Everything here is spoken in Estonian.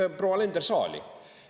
Tooge proua Alender saali!